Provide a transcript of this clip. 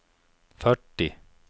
fyrtio